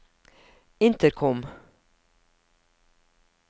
intercom